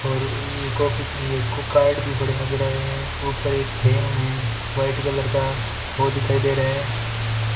और ये कॉपी भी है कार्ड भी पड़े नजर आ रहे हैं ऊपर एक फ्रेम है व्हाइट कलर का वो दिखाई दे रहा है।